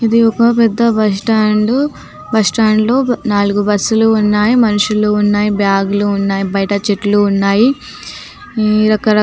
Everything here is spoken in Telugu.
ఇది ఒక్క పెద్ద బస్ స్టాండ్ బస్టాండ్ లో నాలుగు బస్ లు ఉన్నాయి మనుషులు ఉన్నాయి బాగ్ లు ఉన్నాయి బయట చెట్లు ఉన్నాయి ఇ రకరకా --